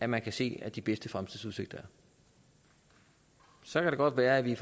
man kan se at de bedste fremtidsudsigter er så kan det godt være at vi